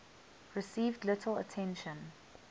received little attention